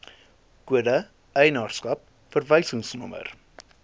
kode eienaarskap verwysingsnommer